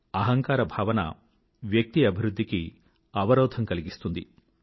అహంకార భావన వ్యక్తి అభివృధ్ధికి అవరోధం కలిగిస్తుంది